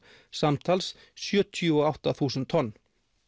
samtals eru sjötíu og átta þúsund tonn